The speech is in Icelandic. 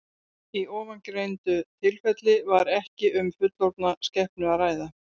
Í ofangreindu tilfelli var ekki um fullorðna skepnu að ræða.